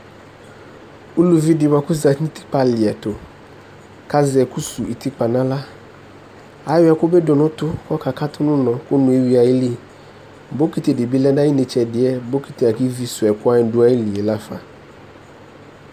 uluvi baku ɔzetinu utikpa liɛtu ku azɛ ɛku suwu utikpa nu axla ayɔ ɛkubi dunu utu ku ɔka katu nu unɔŋ bokiti dibi lɛnu ayitsɛdi